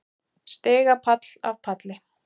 Stigapall af palli.